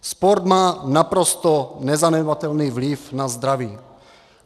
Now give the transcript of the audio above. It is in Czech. Sport má naprosto nezanedbatelný vliv na zdraví.